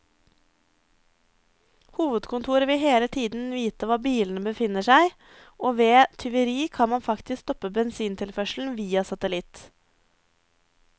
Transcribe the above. Hovedkontoret vil hele tiden vite hvor bilene befinner seg, og ved tyveri kan man faktisk stoppe bensintilførselen via satellitt.